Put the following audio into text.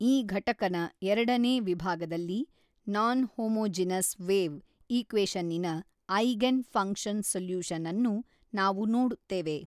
ಈ ಘಟಕನ ಎರಡನೇ ವಿಭಾಗದಲ್ಲಿ ನಾನ್ ಹೊಮೊಜೀನಸ್ ವೇವ್ ಈಕ್ವೇಶನ್ನಿನ ಐಗೆನ್ ಫಂಕ್ಷನ್ ಸಲ್ಯೂಶನನ್ನು ನಾವು ನೋಡುತ್ತೇವೆ.